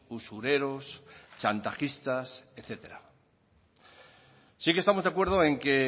usureros chantajistas etcétera sí que estamos de acuerdo en que